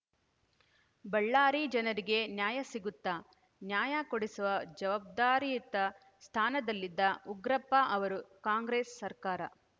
ಬಳ್ಳಾರಿ ಜನರಿಗೆ ನ್ಯಾಯ ಸಿಗುತ್ತಾ ನ್ಯಾಯ ಕೊಡಿಸುವ ಜವಾಬ್ದಾರಿಯುತ ಸ್ಥಾನದಲ್ಲಿದ್ದ ಉಗ್ರಪ್ಪ ಅವರು ಕಾಂಗ್ರೆಸ್‌ ಸರ್ಕಾರ